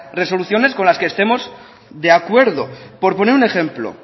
resoluciones con las que estemos de acuerdo por poner un ejemplo